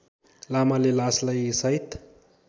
लामाले लासलाई साइत